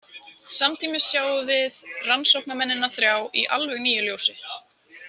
Samtímis sjáum við rannsóknarmennina þrjá í alveg nýju ljósi.